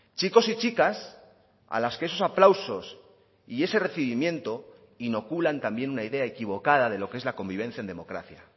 chicos y chicas a las que esos aplausos y ese recibimiento inoculan también una idea equivocada de lo que es la convivencia en democracia